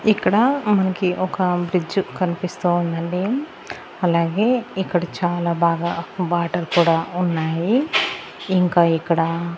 ఇక్కడ మన్కి ఒక ఫ్రిడ్జ్ కనిపిస్తా ఉందండి అలాగే ఇక్కడ చాలా బాగా వాటర్ కూడా ఉన్నాయి ఇంకా ఇక్కడ--